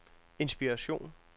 inspiration